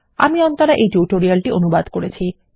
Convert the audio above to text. আমি অন্তরা এই টিউটোরিয়াল টি অনুবাদ করেছি